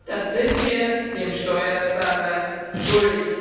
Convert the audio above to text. das sind wir dem Steuerzahler schuldig!